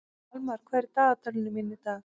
Almar, hvað er í dagatalinu mínu í dag?